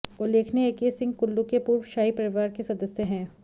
उल्लेखनीय है कि सिंह कुल्लू के पूर्व शाही परिवार के सदस्य हैं